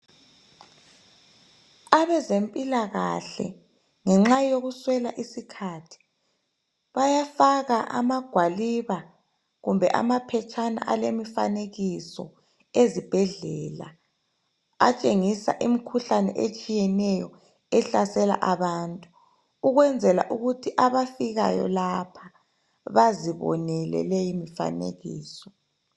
Abezempilakahle ngenxa yokuswela isikhathi, bayafaka amagwaliba kumbe amaphetshana alemifanekiso ezibhedlela atshengisa imikhuhlane etshiyeneyo ehlasela abantu, ukwenzela ukuthi abafikayo lapha bazibonele leyo mifanekiso.